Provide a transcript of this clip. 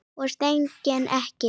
Það stenst ekki.